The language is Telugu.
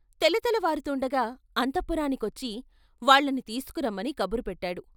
తెలతెలవారుతూండగా అంతఃపురానికొచ్చి వాళ్ళని తీసుకురమ్మని కబురుపెట్టాడు.